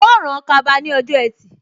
Yóò rán kaba ní ọjọ́ ẹtì